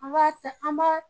An b'a ta, an b'a